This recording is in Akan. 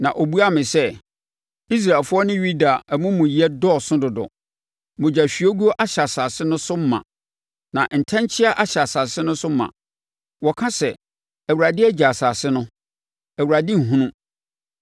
Na ɔbuaa me sɛ, “Israelfoɔ ne Yuda amumuyɛ dɔɔso dodo; mogyahwiegu ahyɛ asase no so ma na ntɛnkyea ahyɛ asase no so ma. Wɔka sɛ, ‘ Awurade agya asase no; Awurade nhunu.’